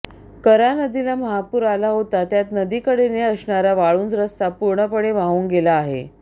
कऱ्हा नदीला महापूर आला होता त्यात नदीकडेने असणारा वाळुंज रस्ता पूर्णपणे वाहून गेला आहे